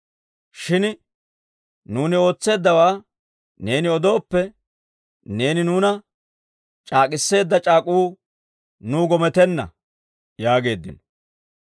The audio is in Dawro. Shin nuuni ootseeddawaa neeni odooppe, neeni nuuna c'aak'k'etseedda c'aak'uu nuw gometenna» yaageeddino.